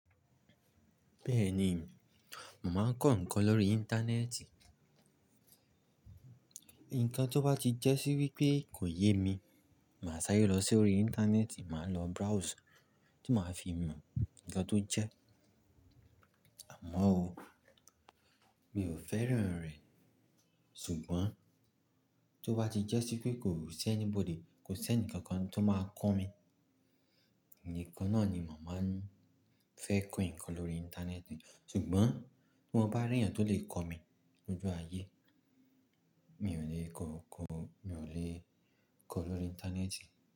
Bẹ́ẹ̀ni, mo màá ń kọ́ ǹkan lórí Íńtánẹ́ẹ̀tì. Nkan tó bá ti jẹ́ sí wípé kò yé mi, màá ṣáré lọ sí orí Íńtánẹ́ẹ̀tì, màá lọ browse tí màá fi mọ ǹkan tó jẹ́. Àmọ́ o, mi ò fẹ́ràn rẹ̀. Ṣùgbọ́n tó bá ti jẹ́ sí pé kò si anybody, kò sé enikan kan tó máa kọ́ mi, ǹikan náà ni mo màá ń fẹ́ kọ́ ǹkan lórí Íńtánẹ́ẹ̀tì. Ṣùgbọ́n bí mọ́ bá rí ẹ̀eyàn tó lè kọ́ mi lójú ayé, mi ò lè kọ́, kọ́, mi ò lè kọ́ lórí Íńtánẹ́ẹ̀tì.